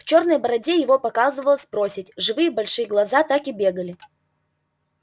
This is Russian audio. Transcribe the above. в чёрной бороде его показывалась проседь живые большие глаза так и бегали